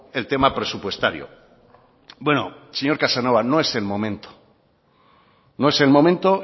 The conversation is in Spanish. el tema presupuestario bueno señor casanova no es el momento no es el momento